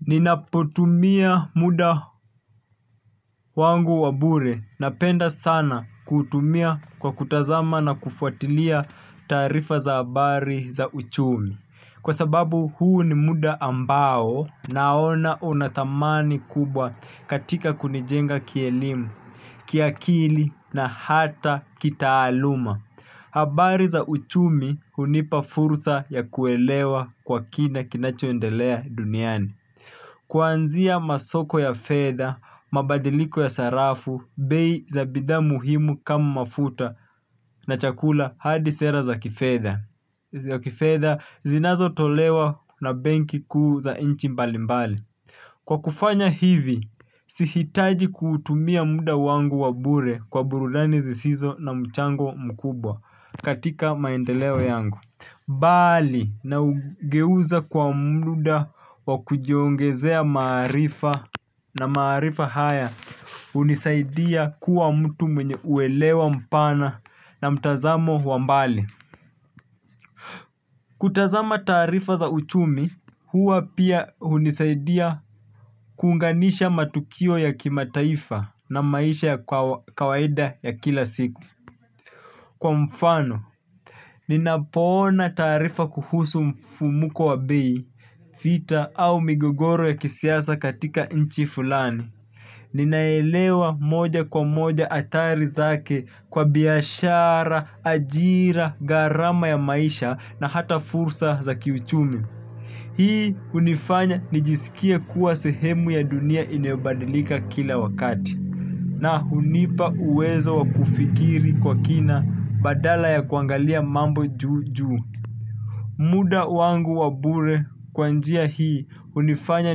Ninapotumia muda wangu wa bure napenda sana kuutumia kwa kutazama na kufuatilia taarifa za habari na uchumi. Kwa sababu huu ni muda ambao naona unadhamani kubwa katika kunijenga kielimu, kiakili na hata kitaaluma. Habari za uchumi hunipa fursa ya kuelewa kwa kina kinachoendelea duniani. Kwanzia masoko ya fedha, mabadiliko ya sarafu, bei za bidhaa muhimu kama mafuta na chakula had sera za kifedha. Za kifedha zinazotolewa na benki kuu za inchi mbali mbali. Kwa kufanya hivi, sihitaji kutumia muda wangu wa bure kwa burudani zisizo na mchango mkubwa katika maendeleo yangu bali na ugeuza kwa mda wa kujiongezea maarifa na maarifa haya hunisaidia kua mtu mwenye kuelewa mpana na mtazamo wa mbali. Kutazama taarifa za uchumi huwa pia unisaidia kuunganisha matukio ya kimataifa na maisha ya kawaida ya kila siku. Kwa mfano ninapoona taarifa kuhusu mfumuko wa bei vita au migongoro ya kisiasa katika nchi fulani. Ninaelewa moja kwa moja adhari zake kwa biashara, ajira, gharama ya maisha na hata fursa za kiuchumi. Hii hunifanya nijisikie kuwa sehemu ya dunia inayobadilika kila wakati na hunipa uwezo wa kufikiri kwa kina badala ya kuangalia mambo juujuu. Muda wangu wabure kwa njia hii hunifanya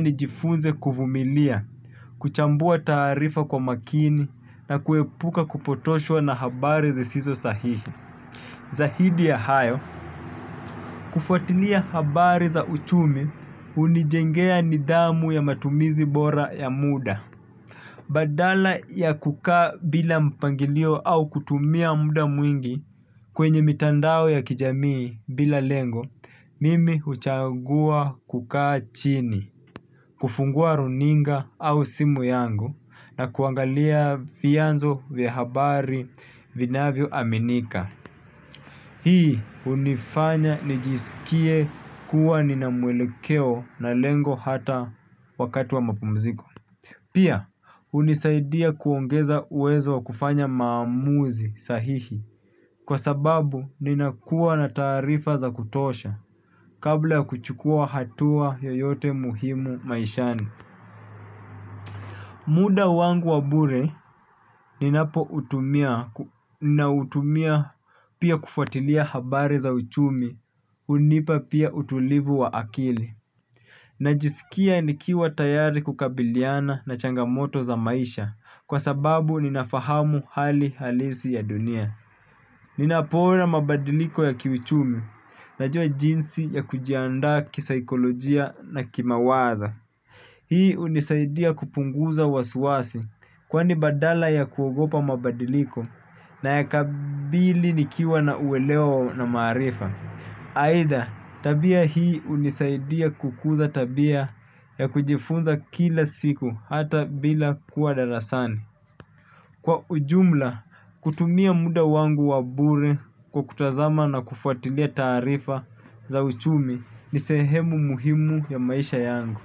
nijifunze kuvumilia, kuchambua taarifa kwa makini na kuepuka kupotoshwa na habari zisizo sahihi. Zaidi ya hayo, kufuatilia habari za uchumi hunijengea nidhamu ya matumizi bora ya muda. Badala ya kukaa bila mpangilio au kutumia muda mwingi kwenye mitandao ya kijamii bila lengo, mimi huchagua kukaa chini, kufungua runinga au simu yangu na kuangalia vyanzo vya habari vinavyo aminika. Hii hunifanya nijisikie kuwa ninamwelekeo na lengo hata wakati wa mapumziko. Pia, hunisaidia kuongeza uwezo wa kufanya maamuzi sahihi kwa sababu ninakua na taarifa za kutosha kabla ya kuchukua hatua yoyote muhimu maishani. Muda wangu wa bure ninapoutumia na utumia pia kufatilia habari za uchumi hunipa pia utulivu wa akili. Najisikia nikiwa tayari kukabiliana na changamoto za maisha kwa sababu ninafahamu hali halisi ya dunia. Ninapoona mabadiliko ya kiuchumi najua jinsi ya kujiandaa kisaikolojia na kimawazo. Hii hunisaidia kupunguza wasiwasi kwani badala ya kuogopa mabadiliko na yakabili nikiwa na uweleo na maarifa. Aidha, tabia hii hunisaidia kukuza tabia ya kujifunza kila siku hata bila kuwa darasani. Kwa ujumla, kutumia muda wangu wa bure kwa kutazama na kufuatilia taarifa za uchumi ni sehemu muhimu ya maisha yangu.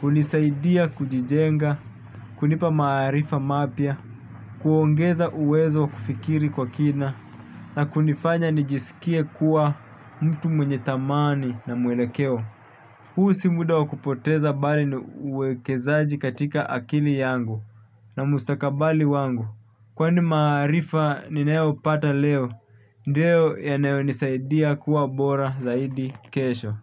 Hunisaidia kujijenga, kunipa maarifa mapya, kuongeza uwezo wa kufikiri kwa kina na kunifanya nijisikie kuwa mtu mwenye dhamani na mwelekeo. Huu si muda wakupoteza bali ni uwekezaji katika akili yangu na mustakabali wangu. Kwani maarifa ninayo pata leo, ndio yanayo nisaidia kuwa bora zaidi kesho.